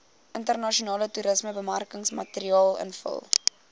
internasionale toerismebemarkingsmateriaal invul